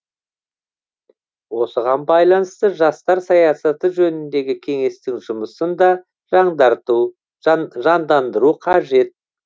осыған байланысты жастар саясаты жөніндегі кеңестің жұмысын да жандандыру қажет